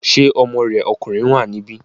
Ṣé ọmọ rẹ̀ ọkùnrin wà níbí?